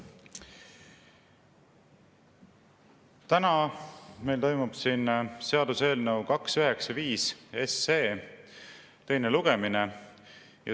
Täna meil toimub seaduseelnõu 295 teine lugemine.